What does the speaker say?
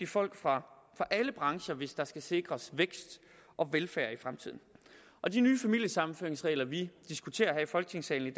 folk fra alle brancher hvis der skal sikres vækst og velfærd i fremtiden og de nye familiesammenføringsregler vi diskuterer her i folketingssalen i